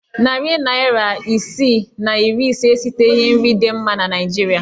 Narị naịra isi na iri ise esiteghi nri dị mma na Naịjirịa.